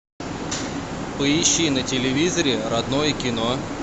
поищи на телевизоре родное кино